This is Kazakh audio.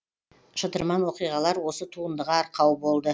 шытырман оқиғалар осы туындыға арқау болды